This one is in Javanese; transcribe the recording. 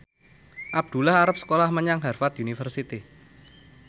Abdullah arep sekolah menyang Harvard university